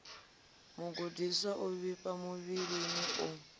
mugudiswa o vhifhaho muvhilini u